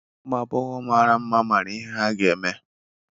Ụmụ agbọghọ mara mma mara ihe ha ga-eme.